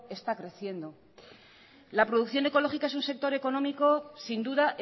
está creciendo la producción ecológica es un sector económico sin duda